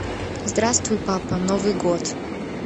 здравствуй папа новый год